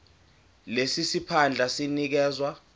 lesi siphandla sinikezwa